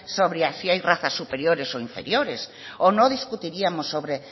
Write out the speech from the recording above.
sobre si hay razas superiores o inferiores o no discutiríamos sobre